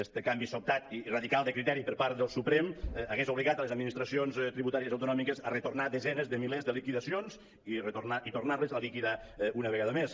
este canvi sobtat i radical de criteri per part del suprem hauria obligat les admi·nistracions tributàries autonòmiques a retornar desenes de milers de liquidacions i tornar·les a liquidar una vegada més